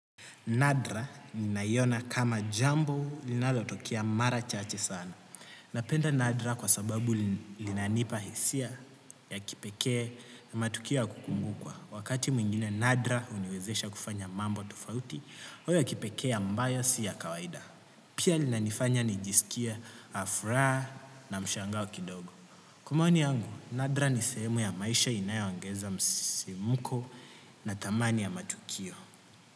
Nadra ninaiona kama jambo linalotokea mara chache sana. Napenda Nadra kwa sababu linanipa hisia ya kipekee na matukio ya kukumbukwa. Wakati mwingine Nadra huniwezesha kufanya mambo tofauti ya kipekee ambayo si ya kawaida. Pia linanifanya nijiskie furaha na mshangao kidogo. Kwa maoni yangu, Nadra ni sehemu ya maisha inayo ongeza msimuko na thamani ya matukio.